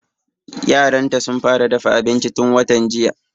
Yaran ta sun fara dafa abinci tun watan jiya